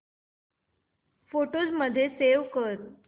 photos मध्ये save कर